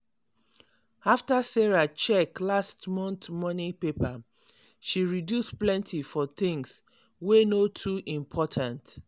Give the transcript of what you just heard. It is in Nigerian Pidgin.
after sarah check last month money paper she reduce plenty for things wey no too important.